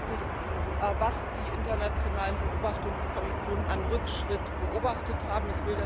Er hat bestätigt, was die internationalen Beobachtungskommissionen an Rückschritt beobachtet haben.